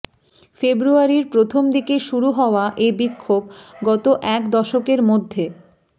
ফেব্রুয়ারির প্রথম দিকে শুরু হওয়া এ বিক্ষোভ গত এক দশকের মধ্যে